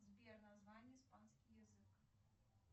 сбер название испанский язык